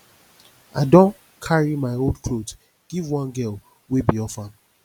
i don carry my old clothes give one girl wey be orphan